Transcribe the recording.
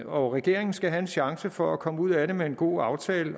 og regeringen skal have en chance for at komme ud af det med en god aftale